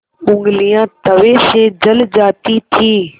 ऊँगलियाँ तवे से जल जाती थीं